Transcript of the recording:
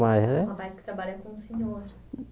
Com Um rapaz que trabalha com o senhor.